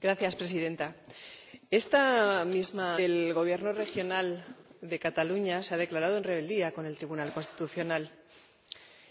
Señora Presidenta, esta misma noche, el Gobierno regional de Cataluña se ha declarado en rebeldía frente al Tribunal Constitucional